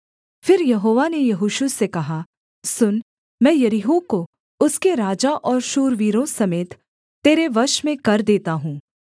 फिर यहोवा ने यहोशू से कहा सुन मैं यरीहो को उसके राजा और शूरवीरों समेत तेरे वश में कर देता हूँ